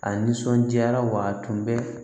A nisɔndiyara wa a tun bɛ